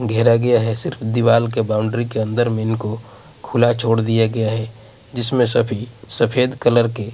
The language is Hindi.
घेरा गया है सिर्फ दीवाल के बाउंड्री के अंदर मेन को खुला छोड़ दिया गया है जिसमें सभी सफेद कलर के--